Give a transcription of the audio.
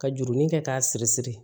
Ka jurunin kɛ k'a siri siri